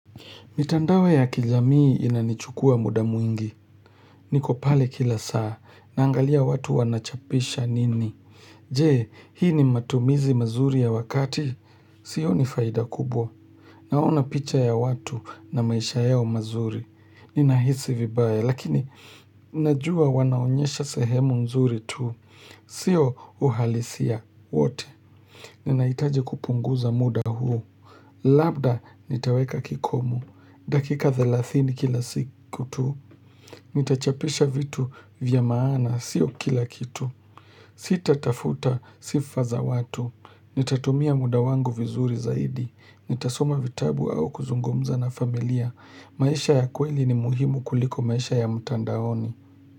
Mitandao ya kijamii inanichukua muda mwingi. Niko pale kila saa, naangalia watu wanachapisha nini. Jee, hii ni matumizi mazuri ya wakati. Sioni faida kubwa. Naona picha ya watu na maisha yao mazuri. Ninahisi vibaya, lakini najua wanaonyesha sehemu nzuri tu. Sio uhalisia. Wote. Ninahitaji kupunguza muda huu. Labda nitaweka kikomo. Dakika 30 kila siku tu, nitachapisha vitu vya maana, sio kila kitu. Sita tafuta sifa za watu, nitatumia muda wangu vizuri zaidi, nitasoma vitabu au kuzungumza na familia. Maisha ya kweli ni muhimu kuliko maisha ya mtandaoni.